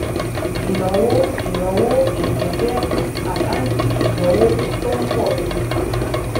ìnáwó ìnáwó èlé jẹ àkáǹtì ìnáwó tó ń pọ si